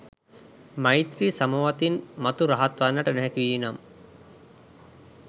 මෛත්‍රී සමවතින් මතු රහත් වන්නට නොහැකි වී නම්